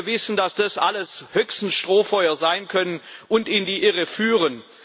Wir wissen, dass das alles höchstens Strohfeuer sein können, die in die Irre führen.